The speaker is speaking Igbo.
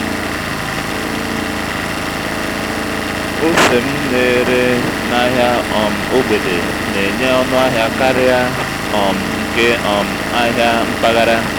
óse m ná-èrè n’áhị́á um ógbèdè nà-ènyé ọ́nụ́ àhị́á kàriá um nke um áhị́á ḿpágàrà.